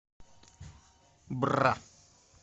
бра